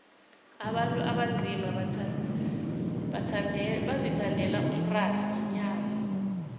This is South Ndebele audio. abantu abanzima bazithandela umratha nenyama